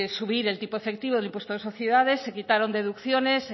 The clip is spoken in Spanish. subir el tipo efectivo del impuesto de sociedades se quitaron deducciones